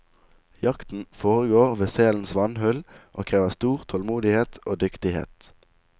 Jakten foregår ved selens vannhull og krever stor tålmodighet og dyktighet.